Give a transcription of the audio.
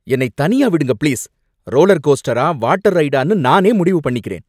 என்னை தனியா விடுங்க, பிளீஸ் ரோலர் கோஸ்டரா வாட்டர் ரைடான்னு நானே முடிவு பண்ணிக்கிறேன்.